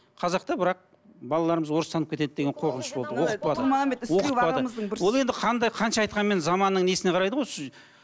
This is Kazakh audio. қазақта бірақ балаларымыз орыстанып кетеді деген қорқыныш болды оқытпады оқытпады ол енді қандай қанша айтқанмен заманның несіне қарайды ғой